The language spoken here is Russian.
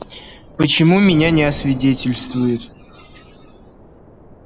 почему меня не освидетельствуют